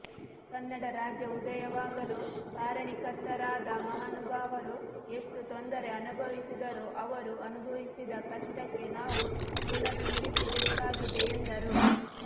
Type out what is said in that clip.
ಕನ್ನಡ ರಾಜ್ಯ ಉದಯವಾಗಲು ಕಾರಣಿಕರ್ತರಾದ ಮಹಾನುಭಾವರು ಎಷ್ಟು ತೊಂದರೆ ಅನುಭವಿಸಿದರು ಅವರು ಅನುಭವಿಸಿದ ಕಷ್ಟಕ್ಕೆ ನಾವು ಋಣತೀರಿಸಿಬೇಕಾಗಿದೆ ಎಂದರು